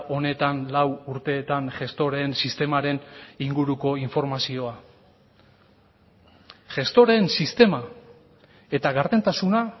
honetan lau urteetan gestoreen sistemaren inguruko informazioa gestoreen sistema eta gardentasuna